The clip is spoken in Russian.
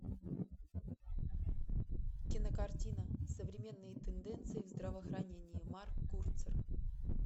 кинокартина современные тенденции в здравоохранении марк курцер